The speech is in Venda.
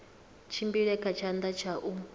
tshimbile kha tshanḓa tsha u